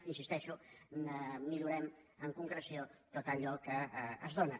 hi insisteixo millorem en concreció tot allò que es dóna